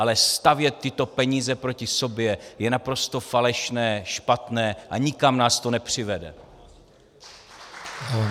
Ale stavět tyto peníze proti sobě je naprosto falešné, špatné a nikam nás to nepřivede.